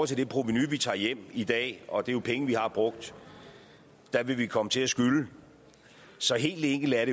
til det provenu vi tager hjem i dag og det er jo penge vi har brugt vil vi komme til at skylde så helt enkelt er